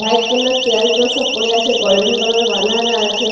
White colour chair গুলো সব পড়ে আছে গল্ডেন কালার -এ বাঁধানো আছে।